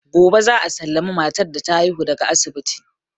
Gobe za a sallami matar da ta haihu daga asibiti.